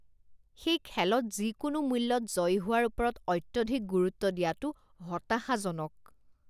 সেই খেলত যিকোনো মূল্যত জয়ী হোৱাৰ ওপৰত অত্যধিক গুৰুত্ব দিয়াটো হতাশাজনক